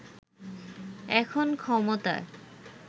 এখন ক্ষমতায়